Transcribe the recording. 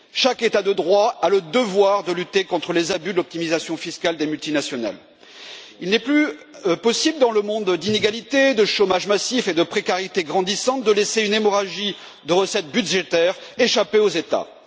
Chaque État de droit a le devoir de lutter contre les abus d'optimisation fiscale des multinationales. Il n'est plus possible, dans un monde d'inégalités, de chômage massif et de précarité grandissante, de laisser une hémorragie de recettes budgétaires échapper aux États.